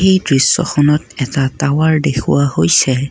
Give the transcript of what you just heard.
এই দৃশ্যখনত এটা টাৱাৰ দেখুওৱা হৈছে।